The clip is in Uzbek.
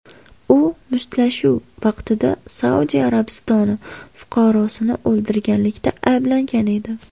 U mushtlashuv vaqtida Saudiya Arabistoni fuqarosini o‘ldirganlikda ayblangan edi.